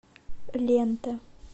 лента